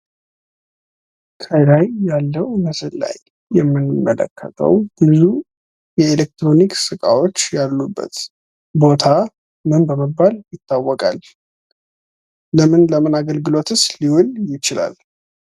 ከላይ ያለው ምስል ላይ የምንመለከተው ብዙ የኤሌክትሮኒክስ እቃዎች ያሉበት ቦታ ምን በመባል ይታወቃል? ለምን ለምን አገልግሎትስ ሊውል ይችላል?